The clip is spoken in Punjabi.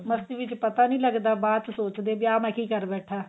ਮਸਤੀ ਵਿੱਚ ਪਤਾ ਨਹੀਂ ਲੱਗਦਾ ਬਾਅਦ ਚ ਸੋਚਦੇ ਵੀ ਆਹ ਮੈਂ ਕਿ ਕਰ ਬੈਠਾ